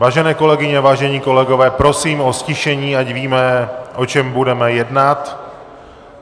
Vážené kolegyně, vážení kolegové, prosím o ztišení, ať víme, o čem budeme jednat.